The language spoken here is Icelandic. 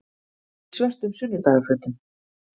Í svörtum sunnudagafötum.